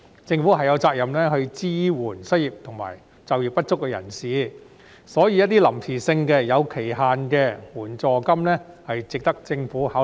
政府有責任支援失業及就業不足人士，所以一些臨時性、有期限的援助金，是值得政府考慮。